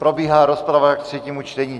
Probíhá rozprava ke třetímu čtení.